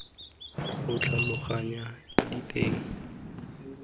o tlhaloganya diteng tsa polelo